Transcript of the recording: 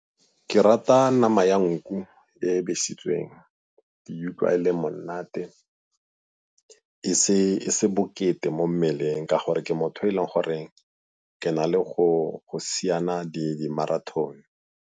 Ke rata nama ya nku e e besitsweng, ke e utlwa e le monate e se bokete mo mmeleng ka gore ke motho o e leng gore ke na le go siana di-marothon.